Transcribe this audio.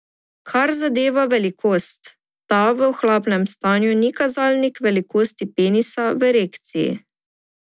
Kar zadeva velikost, ta v ohlapnem stanju ni kazalnik velikosti penisa v erekciji.